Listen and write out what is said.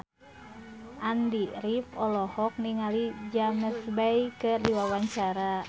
Andy rif olohok ningali James Bay keur diwawancara